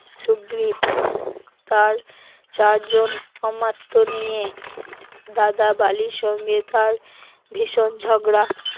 সুগ্রীব তার চারজন অমাত্য নিয়ে, দাদা বালির সঙ্গে তার ভীষণ ঝগড়া